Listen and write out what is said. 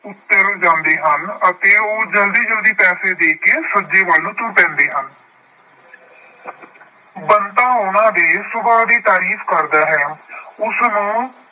ਉੱਤਰ ਜਾਂਦੇ ਹਨ ਅਤੇ ਉਹ ਜਲਦੀ ਜਲਦੀ ਪੈਸੇ ਦੇ ਕੇ ਸੱਜੇ ਵੱਲ ਤੁਰ ਪੈਂਦੇ ਹਨ। ਬੰਤਾ ਉਹਨਾਂ ਦੇ ਸੁਭਾਅ ਦੀ ਤਾਰੀਫ ਕਰਦਾ ਹੈ। ਉਸਨੂੰ